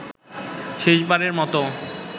শেষবারের মতো